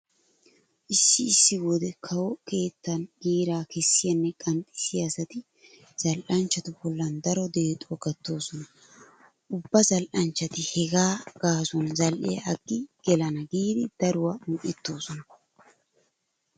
Issi issi wode kawo keettan giiraa kessiyanne qanxxissiya asati zal"anchchatu bollan daro deexuwa gattoosona. Ubba zal"anchchati hegaa gaasuwan zal"iya aggi gelana giidi daruwa un"ettoosona.